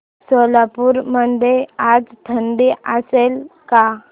सोलापूर मध्ये आज थंडी असेल का